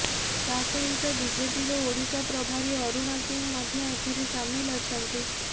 ତା ସହିତ ବିଜେପିର ଓଡ଼ିଶା ପ୍ରଭାରୀ ଅରୁଣ ସିଂ ମଧ୍ୟ ଏଥିରେ ସାମିଲ ଅଛନ୍ତି